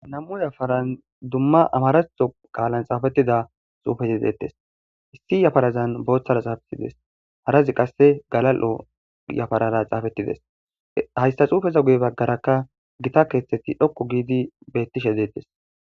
nam7u yafaran dumma amarato qaalan xaafettida xuufesedeettes issi yafarazan booththara xaafetides harazi qasse galal7o yafarara xaafettideshaysta xuufeza guye baggarakka gita keeththetti dhokko giidi bettishe deettes